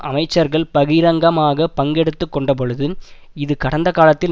அமைச்சர்கள் பகிரங்கமாக பங்கெடுத்து கொண்டபொழுது இது கடந்த காலத்தில்